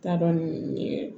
T'a dɔn n ye